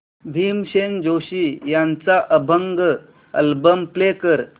भीमसेन जोशी यांचा अभंग album play कर